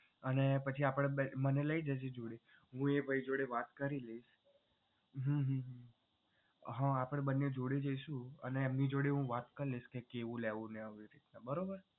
અને પછી મને લઈ જજે જોડે હું એ ભાઈ જોડે વાત કરી લઇશ હમ હા આપડે બંને જોડે જઈશું અને એમની જોડે હું વાત કરી લઇશ કેવું લેવું એ રીત નું બરોબર